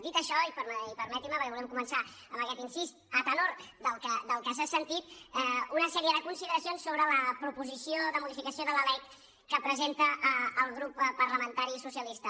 dit això i permetinm’ho perquè volíem començar amb aquest incís d’acord amb el que s’ha sentit una sèrie de consideracions sobre la proposició de modificació de la lec que presenta el grup parlamentari socialista